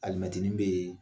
Alimɛtini bɛ yen